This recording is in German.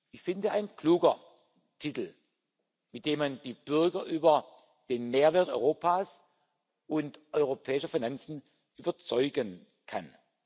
Ich finde, ein kluger Titel, mit dem man die Bürger über den Mehrwert Europas und der europäischen Finanzen überzeugen kann.